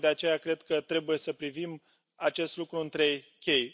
Tocmai de aceea cred că trebuie să privim acest lucru în trei chei.